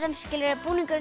búningurinn sem